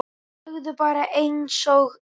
Segðu bara einsog er.